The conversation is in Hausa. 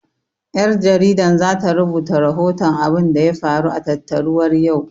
Ƴar jaridan zata rubuta rahoton abunda ya faru a tattaruwar yau